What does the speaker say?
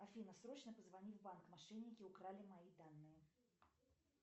афина срочно позвони в банк мошенники украли мои данные